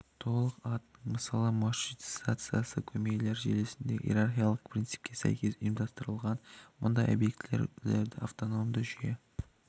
толық атының мысалы маршрутизациясы көмейлер желісінде иерархиялық принципке сәйкес ұйымдастырылған мұндай объектілерді автономды жүйе